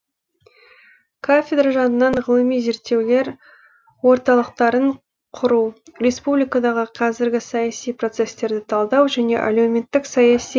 кафедра жанынан ғылыми зерттеулер орталықтарын құру республикадағы қазіргі саяси процестерді талдау және әлеуметтік саяси